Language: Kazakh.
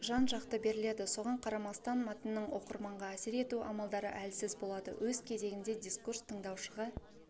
жан-жақты беріледі соған қарамастан мәтіннің оқырманға әсер ету амалдары әлсіз болады өз кезегінде дискурс тыңдаушыға